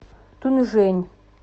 тунжэнь